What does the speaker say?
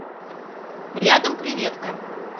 рядом креветка